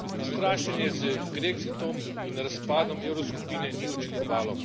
Strašenje z grexitom in razpadom evroskupine ni učinkovalo.